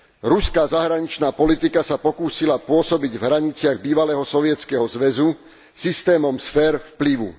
Ruská zahraničná politika sa pokúsila pôsobiť v hraniciach bývalého Sovietskeho zväzu systémom sfér vplyvu.